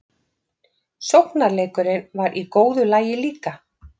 Sóknarleikurinn var í góðu lagi líka.